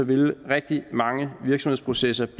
vil rigtig mange virksomhedsprocesser